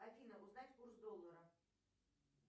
афина узнать курс доллара